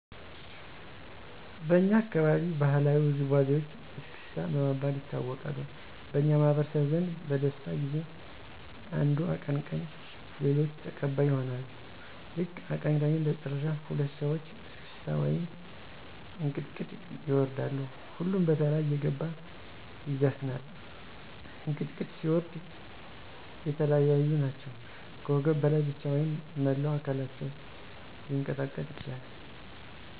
በኛ አካባቢ ባህላዊ ውዝዋዜወች እስክስታ በመባል ይታወቃሉ። በኛ ማህበረሰብ ዘንድ በደስታ ጊዜ አንዱ አቀንቀኝ ሌሎች ተቀባይ ይሆኑና ልክ አቀንቃኙ እንደጨረሰ ሁለት ሰወች እስክታ ወይም እንቅጥቅጥ ይወርዳሉ። ሁሉም በተራ እየገባ ይዘፍናል። እንቅጥቅጥ ሲወርዱ የለያየ ናቸው ከወገብ በላይ ብቻ ወይም መላው አከላቸው ሊቀጠቀጥ ይችላል።